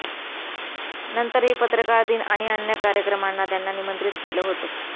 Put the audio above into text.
नंतरही पत्रकार दिन आणि अन्य कार्यक्रमांना त्याना निमंत्रित केलं होतं